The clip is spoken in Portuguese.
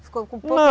Ficou com pouco. Não.